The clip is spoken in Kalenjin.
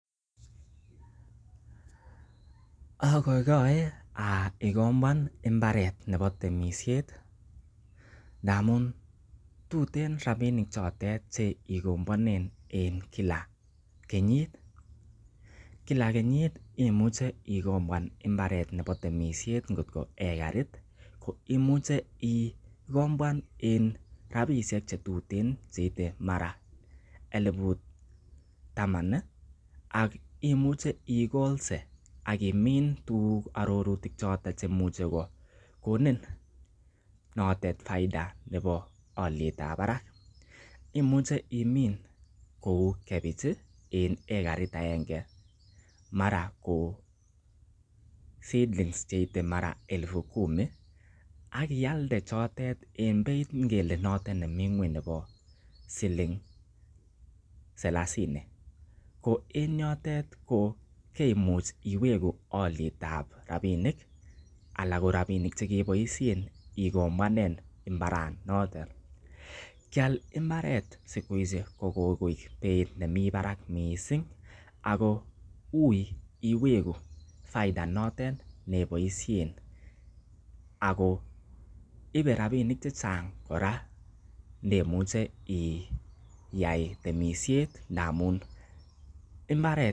Ogoigoe agombwan mbarte nebo temisiet ndamun tuten rabinik chotet che gombwanen en kila kenyit. Kila kenyit imuche igombwan mbaret nebo temsiet ngotko ekarit ko imuche igombwan en rabishek che tuten che mara koite elibu taman ii akimuche igolse ak imin tuguk choton che imuche kogonin notet faida nebo olyet ab barak imuch eimin kou, kebech en ekaret agenge mara ko seedlings che mara koite elfu kumi ak ialde chotet en beit ngele notet nemi ng'weny nebo siling salasini. Ko en yotet ko keimuch iwegu olyet ab rabinik ala korabinik che keboisien igombwanen mbaranotet. Keal mbaret siku hizi ko kogoik beit nemi barak mising ago uiy iwegu faida notet ne iboisiien ago ibe rabinik chechang kora ndemuche iyai temisiet ndamun mbaret.